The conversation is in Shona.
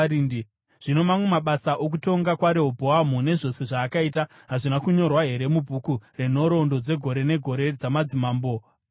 Zvino mamwe amabasa okutonga kwaRehobhoamu nezvose zvaakaita, hazvina kunyorwa here mubhuku renhoroondo dzegore negore dzamadzimambo eJudha?